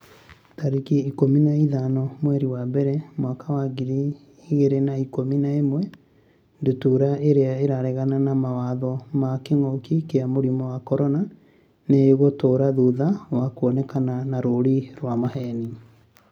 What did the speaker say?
tarĩki ikũmi na ithano mweri wa mbere mwaka wa ngiri igĩrĩ na ikũmi na ĩmwe Ndutura irĩa 'ĩraregana na mawatho ma kĩngũki kia mũrimũ wa CORONA nĩ ĩgũtũra thutha wa kuonekana na rũũri rwa maheeni.